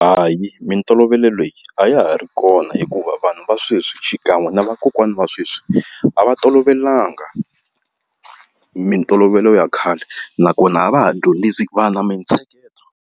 Hayi mintolovelo leyi a ya ha ri kona hikuva vanhu va sweswi xikan'we na vakokwani va sweswi a va tolovelanga mintolovelo ya khale nakona a va ha dyondzisi vana mintsheketo